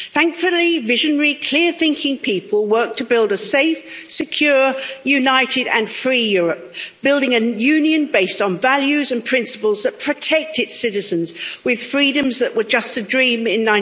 Thankfully, visionary, clear thinking people worked to build a safe, secure, united and free Europe, building a union based on values and principles that protect its citizens, with freedoms that were just a dream in